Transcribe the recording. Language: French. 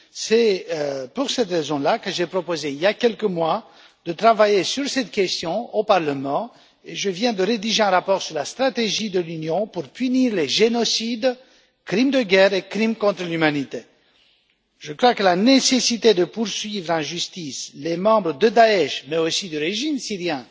C'est pourquoi j'ai proposé, il y a quelques mois, de travailler sur cette question au Parlement et je viens de rédiger un rapport sur la stratégie de l'Union pour punir les génocides, les crimes de guerre et les crimes contre l'humanité. Je crois que la nécessité de poursuivre en justice les membres de Daesh mais aussi du régime syrien